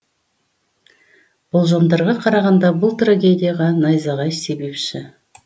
болжамдарға қарағанда бұл трагедияға найзағай себепші